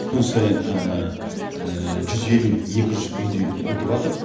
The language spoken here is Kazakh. күн сайын жүз елу екі жүз үйдей бітіватыр